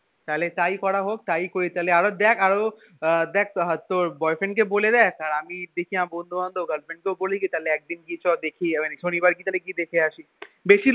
তাহলে তাই করি তাহলে আরও দেখ আরও আহ দেখ তোর boy friend কে বলে দেখ আমি দেখি আমার বন্ধু বান্ধব girl friend কেও বলি কি তাহলে একদিন গিয়ে চ দেখি মানে শনিবার তাহলে গিয়ে দেখে আসি বেশি